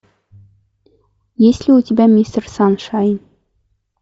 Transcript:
есть ли у тебя мистер саншайн